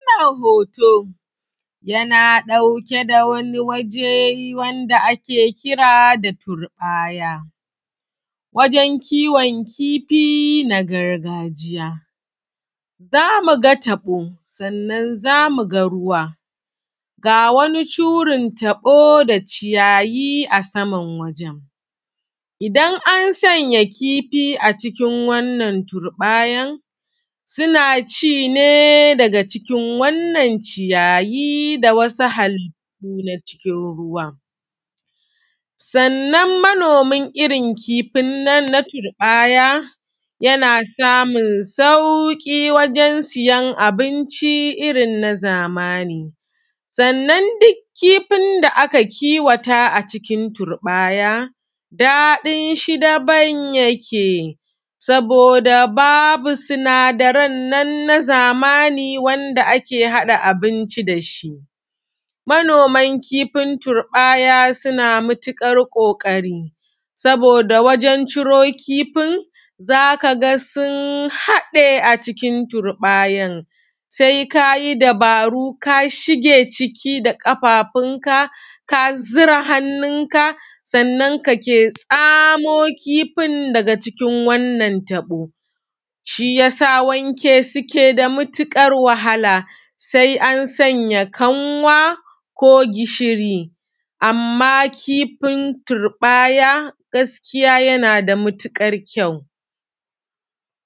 Wannan hoto, yana ɗauke da wani waje wanda ake kira da turɓaya, wajen kiwon kifi na gargajiya, zamu ga taɓo sannan zamu ga ruwa, ga wani shurin taɓo da ciyayi a saman wajen. Idan an sanya kifi a cikin wannan turɓayar, suna ci ne daga cikin wannan ciyayi da wasu halittu na cikin ruwan, sannan manomin irin kifin nan na turɓaya, yana samun sauƙi wajen siyan abinci irin na zamani, sannan duk kifin da aka kiwata a cikin turɓaya, daɗin shi daban yake saboda babu sinadaran nan na zamani wanda ake haɗa abinci da shi. Manoman kifin turɓaya suna matuƙar kokari, saboda wajen ciro kifin, zaka ga sun haɗe a cikin turɓayar, sai kayi dabaru kashige ciki da ƙafafun ka, ka zura hannun ka, sannan kake tsamo kifin daga cikin wannan taɓo, shi yasa wanke su yake da matuƙar wahala, sai an sanya kanwa ko gishiri, amman kifin turɓaya gaskiya yana da matuƙar kyau.